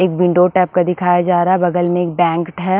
एक window type का दिखाया जा रहा है बगल में एक बैंक ट है ।